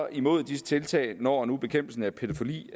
imod disse tiltag når når bekæmpelsen af pædofili